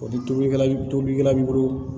O ni tobili tobilikɛla b'i bolo